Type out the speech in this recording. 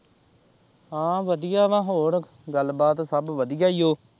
ਹਾਂ ਵਧੀਆ ਵਾ ਹੋਰ ਗੱਲਬਾਤ ਸਭ ਵਧੀਆ ਹੀ ਏ ਓ।